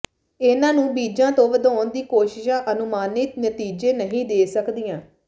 ਇਹਨਾਂ ਨੂੰ ਬੀਜਾਂ ਤੋਂ ਵਧਾਉਣ ਦੀਆਂ ਕੋਸ਼ਿਸ਼ਾਂ ਅਨੁਮਾਨਿਤ ਨਤੀਜੇ ਨਹੀਂ ਦੇ ਸਕਦੀਆਂ